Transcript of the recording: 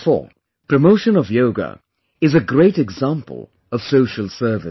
Therefore promotion of Yoga is a great example of social service